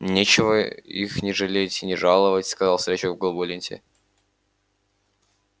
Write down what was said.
нечего их ни жалеть ни жаловать сказал старичок в голубой ленте